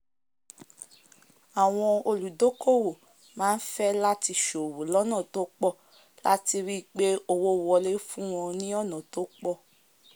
àwọn olùdókówò máá fẹ́ láti sòwò lónà tó pọ̀ láti ríi pé owó wolé fún wọn ní ọ̀nà tópọ̀